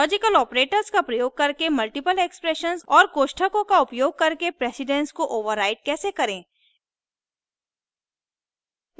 logical operators का प्रयोग करके multiple expressions और कोष्ठकों का उपयोग करके precedence को override कैसे करें